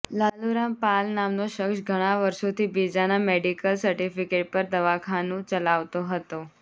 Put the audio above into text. લાલુરામ પાલ નામનો શખ્સ ઘણા વષોઁથી બીજાના મેડીકલ સર્ટિફિકેટ પર દવાખાનું ચલાવતો હતો